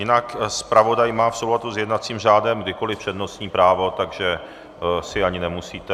Jinak zpravodaj má v souladu s jednacím řádem kdykoliv přednostní právo, takže si ani nemusíte...